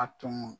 A tun